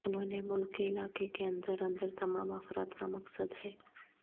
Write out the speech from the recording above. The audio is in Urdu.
انہوں نے ملک کے علاقے کے اندر اندر تمام افراد کا مقصد ہے